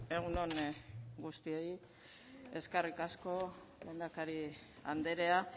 egun on guztioi eskerrik asko lehendakari andrea